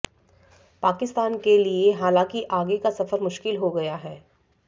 पाकिस्तान के लिए हालांकि आगे का सफर मुश्किल हो गया है